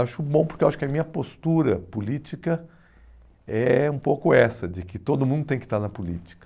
Acho bom porque a minha postura política é um pouco essa, de que todo mundo tem que estar na política.